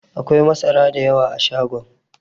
Akwai masara da yawa a shagon.